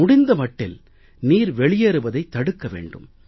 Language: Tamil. முடிந்த மட்டில் நீர் வெளியேறுவதைத் தடுக்க வேண்டும்